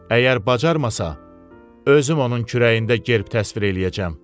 Əgər bacarmasa, özüm onun kürəyində gerb təsvir eləyəcəm.